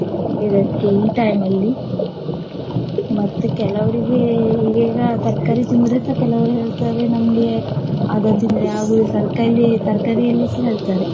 ಇದಕ್ಕೆ ಈ time ಅಲ್ಲಿ ಮತ್ತ್ ಕೆಲವ್ರಿಗೆ ಈಗ ಈಗ ತರ್ಕಾರಿ ತಿಂದ್ರುಸ ಕೆಲವ್ರು ಹೇಳ್ತಾರೆ ನಮ್ಗೆ ಅದು ತಿಂದ್ರೆ ಆಗುದಿಲ್ಲ ತರಕಾರಿ~ ತರ್ಕಾರಿಯಲ್ಲಿಸ ಹೇಳ್ತಾರೆ.